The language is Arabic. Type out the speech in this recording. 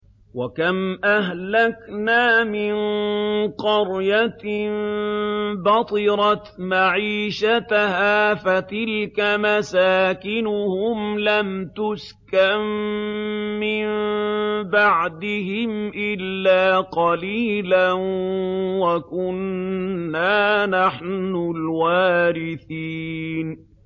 وَكَمْ أَهْلَكْنَا مِن قَرْيَةٍ بَطِرَتْ مَعِيشَتَهَا ۖ فَتِلْكَ مَسَاكِنُهُمْ لَمْ تُسْكَن مِّن بَعْدِهِمْ إِلَّا قَلِيلًا ۖ وَكُنَّا نَحْنُ الْوَارِثِينَ